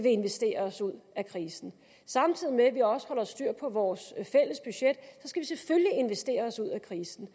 investere os ud af krisen samtidig med at vi også holder styr på vores fælles budget skal investere os ud af krisen